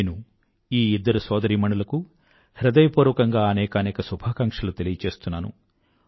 నేను ఈ ఇద్దరు సోదరీమణులకూ హృదయపూర్వకంగా అనేకానేక శుభాకాంక్షలు తెలియజేస్తున్నాను